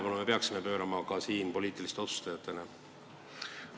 Kas me peaksime sellele ka poliitiliste otsustajatena tähelepanu pöörama?